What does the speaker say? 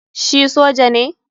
Shi soja ne?